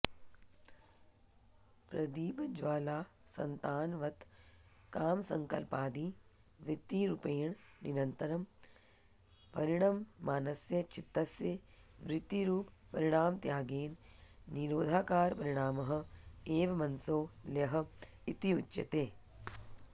प्रदीपज्वालासन्तानवत् कामसङ्कल्पादि वृत्तिरूपेण निरन्तरं परिणममानस्य चित्तस्य वृत्तिरूपपरिणामत्यागेन निरोधाकारपरिणामः एव मनसो लयः इत्युच्यते